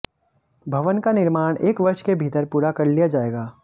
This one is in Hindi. भवन का निर्माण एक वर्ष के भीतर पूरा कर लिया जाएगा